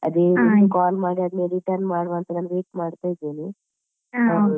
ಅದೇ ರೀತಿ. call ಆದ್ಮೇಲೆ return call ಮಾಡುವ ಅಂತ ನಾನೀಗ wait ಮಾಡ್ತಾ ಇದ್ದೇನೆ ಅವಳಿಗೆ.